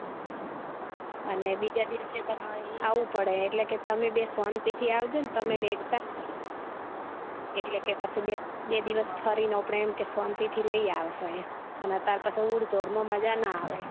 અને બીજા દિવસ પણ આવું પડે એટલે કે તમે બે શાંતિ થી આવજો ને તમે ને એકતા એટલે કે પછી બે દિવસ ફરી ને અપડે શાંતિ થી લઇ આવસો એમ અને અતાર પછી ઉડ દોડ માં મજા ના આવે